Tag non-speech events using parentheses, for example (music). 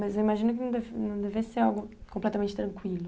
Mas eu imagino que (unintelligible) não deve ser algo completamente tranquilo.